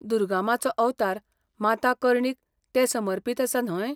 दुर्गा माँचो अवतार माता कर्णीक तें समर्पितआसा न्हय ?